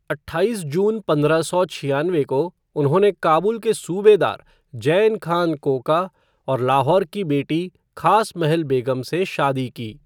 अट्ठाईस जून पंद्रह सौ छियानवे को उन्होंने काबुल के सूबेदार जैन खान कोका और लाहौर की बेटी खास महल बेग़म से शादी की।